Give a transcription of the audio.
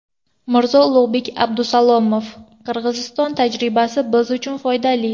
Mirzo Ulug‘bek Abdusalomov: Qirg‘iziston tajribasi biz uchun foydali.